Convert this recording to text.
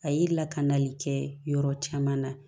A ye lakanali kɛ yɔrɔ caman na